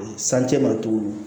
Sancɛ ma tuguni